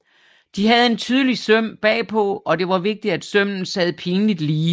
De havde en tydelig søm bag på og det var vigtigt at sømmen sad pinligt lige